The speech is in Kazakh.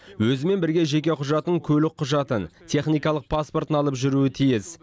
өзімен бірге жеке құжатын көлік құжатын техникалық паспортын алып жүруі тиіс